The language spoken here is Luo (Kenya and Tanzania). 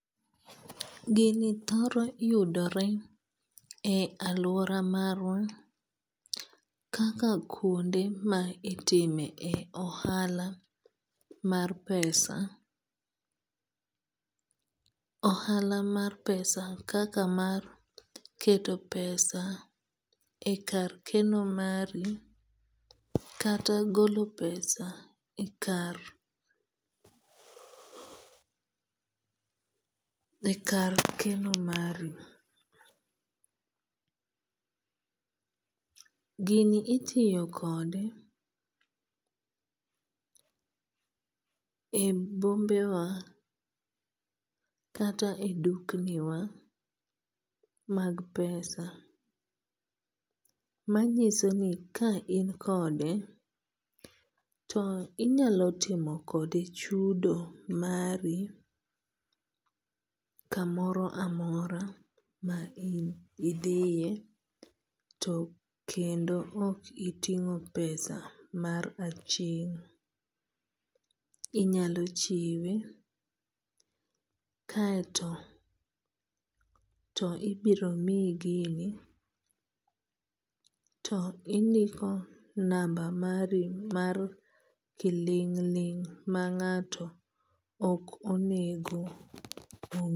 Gini thoro yudore e aluora marwa kaka kuonde ma itime ohala mar pesa. Ohala mar pesa kaka mar keto pesa e kar keno mari kata golo pesa e kar e kar keno mari. Gini itiyo kode e bombe wa kata e dukni wa mag pesa. Manyiso ni ka in kode to inyalo timo kode chudo mari kamoro amora ma idhiye to kendo ok itingo pesa mar aching'. Inyalo chiwe kaeto to ibiro miyi gini to indiko namba mari mar kiling' ling' ma ngato ok anego onge.